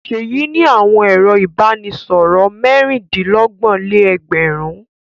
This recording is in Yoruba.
Ṣèyí ní àwọn ẹ̀rọ-ìbánisọ̀rọ̀ mẹ́rin-dín-lọ́gbọ̀n-lé-ẹgbẹ̀rún.